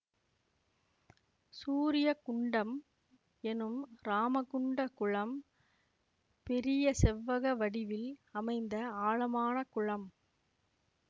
சூரிய குண்டம் எனும் இராமகுண்ட குளம் பெரிய செவ்வக வடிவில் அமைந்த ஆழமான குளம்